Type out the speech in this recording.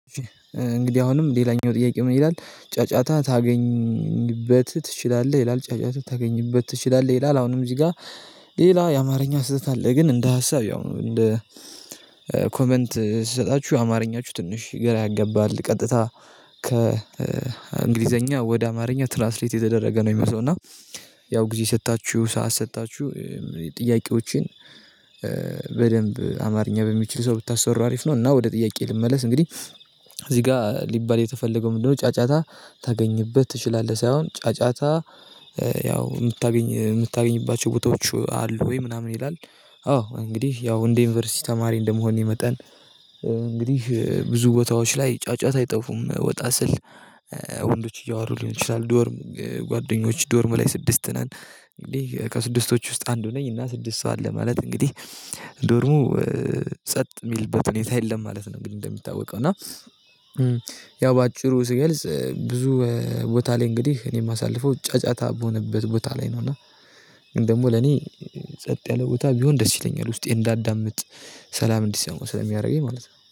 እንግዲህ አሁንም ሌላኛው ጥያቄ ምን ይላል ጫጫታ ታገኝበት ትችላለህ ይላል ጫጫቱ ታገኝበት ትችላለህ ይላል አሁንም እዚህ ጋር። ሌላ የአማርኛ ስህተት አለ። ግን እንደ ሀሳብ ያው እንደ ኮመንት ስሰጣችሁ አማርኛችሁ ትንሽ ገራ ያገባል ቀጥታ። ከእንግሊዘኛ ወደ አማርኛ ትራስሌት የተደረገ ነው። የሚመሰው እና ያው ጊዜ ሰጥታችሁ ሰዓት ሰጥታችሁ ጥያቄዎቼን። በደንብ አማርኛ በሚችል ሰው ብታስወራ አሪፍ ነው። እና ወደ ጥያቄ ልመለስ እንግዲህ። እዚህ ጋር ሊባል የተፈለገው ምንድነው? ጫጫታ ታገኝበት ትችላለህ ሳይሆን ጫጫታ። ያው የምታገኝ የምታገኝባቸው ቦታዎች አሉ ወይ ምናምን ይላል? አዎ እንግዲህ ያው እንደ ዩኒቨርሲቲ ተማሪ እንደመሆኔ መጠን። እንግዲህ ብዙ ቦታዎች ላይ ጫጫት አይጠፉም። ወጣ ስል ወንዶች እያወሩ ሊሆን ይችላል። ዶርም ጓደኞች ዶርም ላይ ስድስት ነን። እንግዲህ ከስድስቶች ውስጥ አንዱ ነኝ እና ስድስት ሰው አለ ማለት እንግዲህ። ዶርሙ ጸጥ የሚልበት ሁኔታ የለም ማለት ነው። እንደሚታወቀው እና። ያው በአጭሩ ስገልጽ ብዙ ቦታ ላይ እንግዲህ እኔ የማሳልፈው ጫጫታ በሆነበት ቦታ ላይ ነው እና። እና ግን ደግሞ ለኔ ጸጥ ያለ ቦታ ቢሆን ደስ ይለኛል ውስጤ እንዳዳምጥ ሰላም እንዲሰማው ስለሚያደርገኝ ማለት ነው